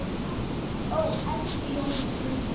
Kveðja, Siggi.